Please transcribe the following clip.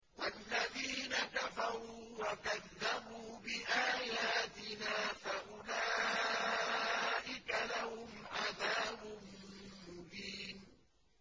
وَالَّذِينَ كَفَرُوا وَكَذَّبُوا بِآيَاتِنَا فَأُولَٰئِكَ لَهُمْ عَذَابٌ مُّهِينٌ